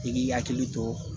I k'i hakili to